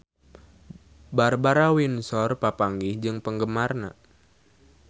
Barbara Windsor papanggih jeung penggemarna